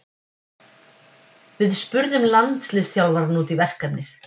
Við spurðum landsliðsþjálfarann út í verkefnið.